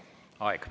Aeg!